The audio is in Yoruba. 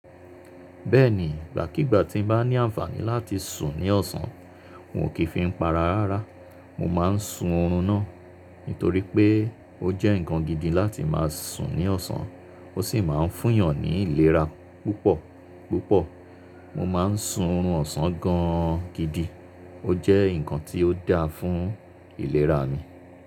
Bẹ́ẹ̀ni, ìgbàkígbà tí n bá ní àǹfààní láti sùn ní ọ̀sán, n ò kí fi ń pa ara rárá. Mo má a n sùn oorun náà. Nítorí pé ó jẹ́ nǹkan gidi láti má a sùn ní ọ̀sán, ó sì má a n fún yàn ní ìlera púpọ̀ púpọ̀. Mo ma n sùn oorun ọ̀sán gan an gidi. Ó jẹ́ nǹkan tí ó dáa fún ìlera mi.